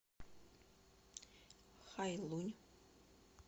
хайлунь